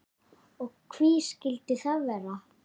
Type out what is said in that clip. Og hví skildi það vera?